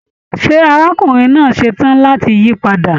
Ṣé arákùnrin náà ṣetán láti yí padà?